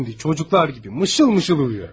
İndi uşaqlar kimi şirin-şirin yatır.